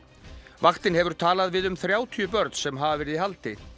vaktin hefur talað við um þrjátíu börn sem hafa verið í haldi